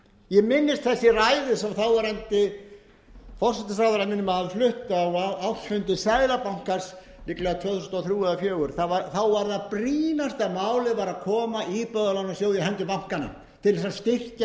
ég minnist þess í ræðu sem þáverandi forsætisráðherra minnir mig að hafi flutt á ársfundi seðlabankans líklega tvö þúsund og þrjú eða tvö þúsund og fjögur þá var það brýnasta málið að koma íbúðalánasjóð hendur bankanna til að styrkja